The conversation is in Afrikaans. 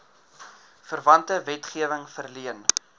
verwante wetgewing verleen